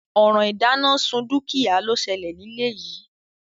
Òràn ìdánásun dúkìá ló selè nílé yìí